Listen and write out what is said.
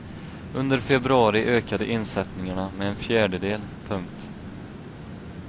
Under februari ökade insättningarna med en fjärdedel. punkt